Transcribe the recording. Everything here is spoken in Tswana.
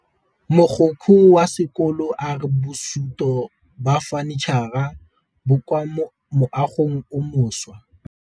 Mogokgo wa sekolo a re bosutô ba fanitšhara bo kwa moagong o mošwa.